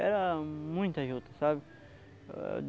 Era muita juta, sabe?